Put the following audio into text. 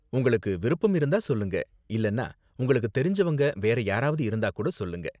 உங்களுக்கு விருப்பம் இருந்தா சொல்லுங்க, இல்லனா உங்களுக்கு தெரிஞ்சவங்க வேற யாராவது இருந்தா கூட சொல்லுங்க.